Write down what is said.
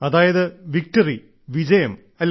അതായത് വിക്ടറി വിജയം അല്ലേ